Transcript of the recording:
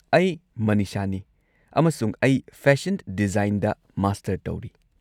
ꯑꯩ ꯃꯅꯤꯁꯥꯅꯤ, ꯑꯃꯁꯨꯡ ꯑꯩ ꯐꯦꯁꯟ ꯗꯤꯖꯥꯏꯟꯗ ꯃꯥꯁꯇꯔ ꯇꯧꯔꯤ꯫